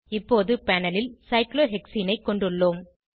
இப்போது பேனல் ல் சைக்ளோஹெக்சீனை கொண்டுள்ளோம்